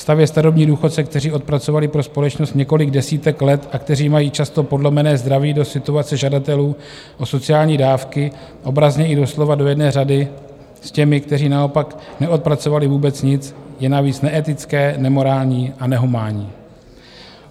Stavět starobní důchodce, kteří odpracovali pro společnost několik desítek let a kteří mají často podlomené zdraví, do situace žadatelů o sociální dávky, obrazně i doslova do jedné řady s těmi, kteří naopak neodpracovali vůbec nic, je navíc neetické, nemorální a nehumánní.